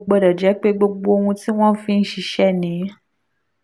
kò gbọ́dọ̀ jẹ́ pé gbogbo ohun tí wọ́n fi ń ṣiṣẹ́ ni